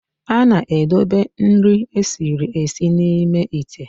A na-edobe nri esiri esi n'ime íté